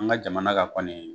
An ka jamana ka kɔnii